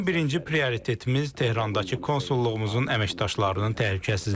Bizim birinci prioritetimiz Tehrandakı konsulluğumuzun əməkdaşlarının təhlükəsizliyidir.